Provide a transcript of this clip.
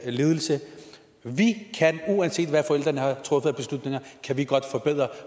lidelse uanset hvad forældrene har truffet af beslutninger kan vi godt forbedre